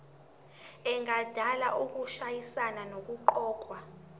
engadala ukushayisana nokuqokwa